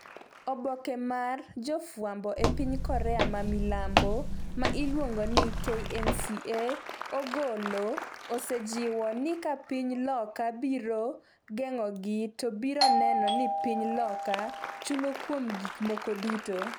oboke mar jofwambo e piny Korea ma milambo ma iluongo ni KNCA ogolo, osejiwo ni ka piny loka biro geng'ogi , to biro neno ni piny loka chulo kuom gik moko duto